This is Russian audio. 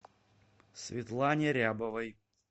светлане рябовой